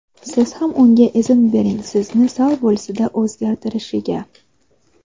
siz ham unga izn bering sizni sal bo‘lsa-da o‘zgartirishiga.